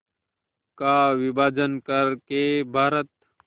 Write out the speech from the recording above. का विभाजन कर के भारत